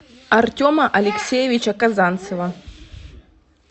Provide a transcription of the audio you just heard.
артема алексеевича казанцева